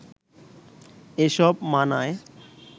এসব মানায়